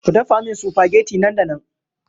Ku dafa min supageti nan da nan!